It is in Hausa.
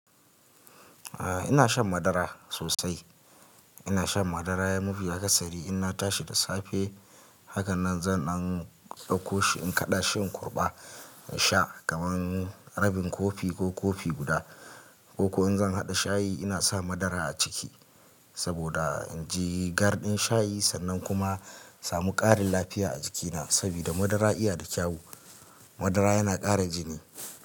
Ah ina son madara sosai. Ina shan madara, mafi akasari in na tashi da safe. Haka nan zan ɗan ɗauko shi, in kaɗa shi in kurɓa, in sha kaman rabin kofi ko kofi guda ko ko in zan haɗa shayi, ina sa madara a ciki saboda in ji garɗin shayi sannan kuma in samu ƙarin lafiya a jikina sabida madara iya da kyawu. Madara yana ƙara jini.